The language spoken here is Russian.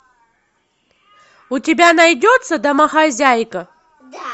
у тебя найдется домохозяйка